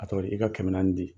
A tɔ ye i ka kɛmɛ naani di.